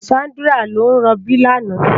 Sandra ló n ròbí làná